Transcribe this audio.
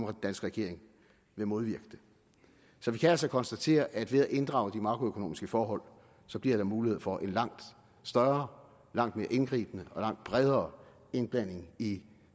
regering ville modvirke det så vi kan altså konstatere at ved at inddrage de makroøkonomiske forhold bliver der mulighed for en langt større langt mere indgribende og langt bredere indblanding i